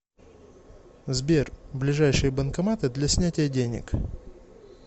сбер ближайшие банкоматы для снятия денег